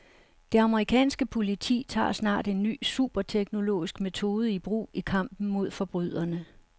Det amerikanske politi tager snart en ny superteknologisk metode i brug i kampen mod forbryderne.